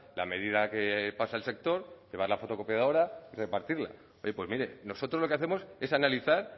la medida que pasa el sector llevar a la fotocopiadora y repartirla pues mire nosotros lo que hacemos es analizar